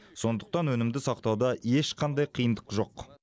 сондықтан өнімді сақтауда ешқандай қиындық жоқ